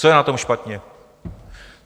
Co je na tom špatně?